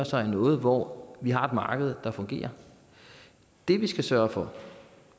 sig i noget hvor vi har et marked der fungerer det vi skal sørge for